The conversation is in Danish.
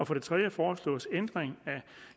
for det tredje foreslås ændring af